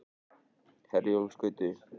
Herjólfsgötu